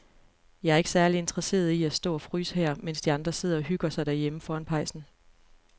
Jeg er ikke særlig interesseret i at stå og fryse her, mens de andre sidder og hygger sig derhjemme foran pejsen.